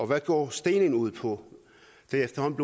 hvad går stening ud på det er efterhånden